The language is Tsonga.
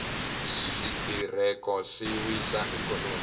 switereko swi wisa ikhonomi